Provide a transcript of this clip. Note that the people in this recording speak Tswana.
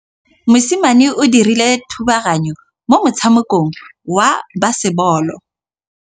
Mosimane o dirile thubaganyô mo motshamekong wa basebôlô.